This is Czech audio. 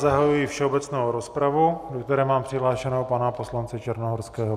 Zahajuji všeobecnou rozpravu, do které mám přihlášeného pana poslance Černohorského.